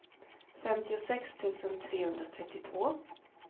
femtiosex tusen trehundratrettiotvå